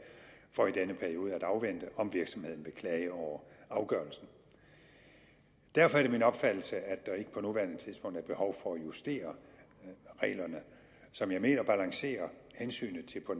for i denne periode at afvente om virksomheden vil klage over afgørelsen derfor er det min opfattelse at der ikke på nuværende tidspunkt er behov for at justere reglerne som jeg mener balancerer hensyn til